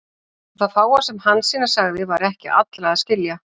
Og það fáa sem Hansína sagði var ekki allra að skilja.